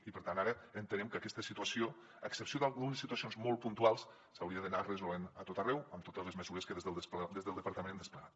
i per tant ara entenem que aquesta situació a excepció d’algunes situacions molt puntuals s’hauria d’anar resolent a tot arreu amb totes les mesures que des del departament hem desplegat